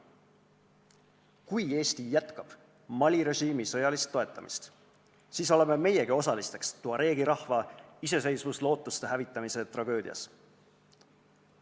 Kui Eesti jätkab Mali režiimi sõjalist toetamist, siis oleme meiegi osalisteks tuareegi rahva iseseisvuslootuste hävitamise tragöödias.